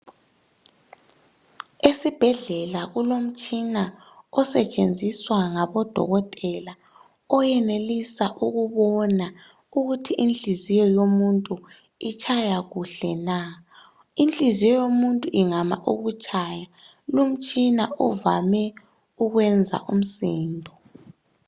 Esibhedlela kulomtshina osetshenziswa ngabodokotela oyenelisa ukubona ukuthi inhliziyo yomuntu itshaya kuhle na. Inhliziyo yomuntu ingama ukutshaya, lumtshina uvame ukwenza umsindo.